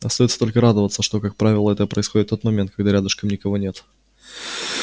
остаётся только радоваться что как правило это происходит в тот момент когда рядом никого нет